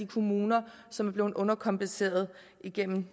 kommuner som er blevet underkompenseret igennem